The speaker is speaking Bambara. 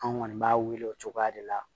An kɔni b'a wele o cogoya de la